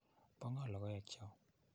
Po ng'o logoek cho?